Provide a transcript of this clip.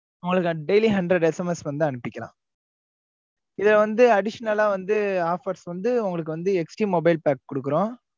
அவ்ளோ தான் daily hundred SMS வந்து அனுபிக்கலாம். இத வந்து additional ஆ வந்து offers வந்து உங்களுக்கு வந்து HD mobile pack கொடுக்கிறோம்.